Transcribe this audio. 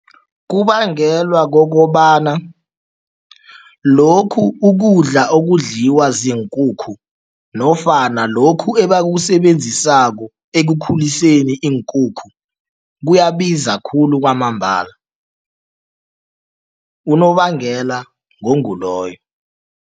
Kubangelwa kokobana lokhu ukudla okudliwa ziinkukhu nofana lokhu abakusebenzisako ekukhuliseni iinkukhu, kuyabiza khulu kwamambala. Unobangela ngonguloyo.